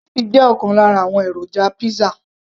cheese jẹ́ ọ̀kan lára àwọn èròjà pizza